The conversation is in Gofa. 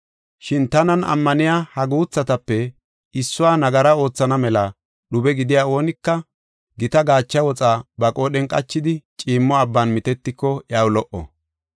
“Shin tanan ammaniya ha guuthatape issuwa nagara oothana mela dhube gidiya oonika gita gaacha woxa ba qoodhen qachidi ciimmo abban mitetiko iyaw lo77o.